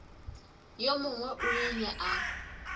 yo mongwe o ile a